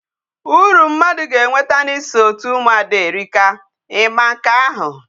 Uru mmadu ga-enweta na iso otu umuada erika. I ma nke ahu?